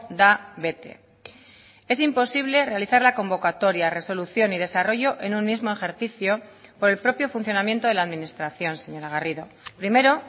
da bete es imposible realizar la convocatoria resolución y desarrollo en un mismo ejercicio por el propio funcionamiento de la administración señora garrido primero